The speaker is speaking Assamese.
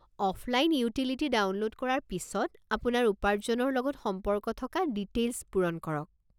অফলাইন ইউটিলিটি ডাউনলোড কৰাৰ পিছত, আপোনাৰ উপাৰ্জনৰ লগত সম্পৰ্ক থকা ডিটেইলছ পূৰণ কৰক।